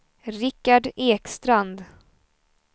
Rikard Ekstrand